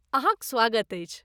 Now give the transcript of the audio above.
अहाँक स्वागत अछि।